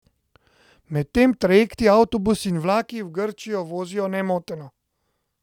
Medtem trajekti, avtobusi in vlaki v Grčiji vozijo nemoteno.